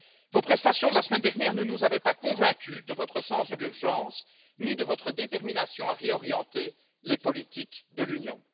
Vos prestations de la semaine dernière ne nous avaient pas convaincus de votre sens de l'urgence, ni de votre détermination à réorienter les politiques de l'Union.